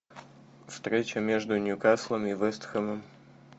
встреча между ньюкаслом и вест хэмом